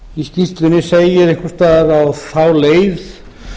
í skýrslunni segir einhvers staðar á þá leið